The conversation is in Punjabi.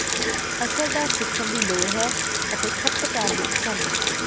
ਅਸਰਦਾਰ ਸਿੱਖਣ ਦੀ ਲੋੜ ਹੈ ਅਤੇ ਖਪਤਕਾਰ ਦੀ ਪਸੰਦ